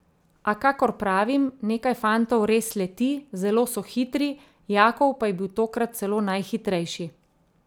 A, kakor pravim, nekaj fantov res leti, zelo so hitri, Jakov pa je bil tokrat celo najhitrejši.